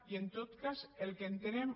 i en tot cas el que entenem